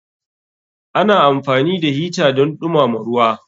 Ana amfani da hita don dumama ruwa.